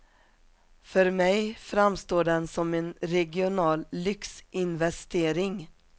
För mig framstår den som en regional lyxinvestering.